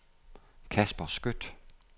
Casper Skøtt